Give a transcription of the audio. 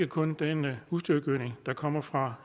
kun den husdyrgødning der kommer fra